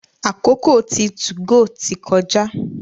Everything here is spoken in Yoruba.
àkókò tí 2go tí kọjá.